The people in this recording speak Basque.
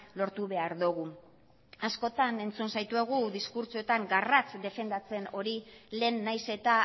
lortu behar dugu askotan entzun zaituegi diskurtsoetan garratz defendatzen hori lehen nahiz eta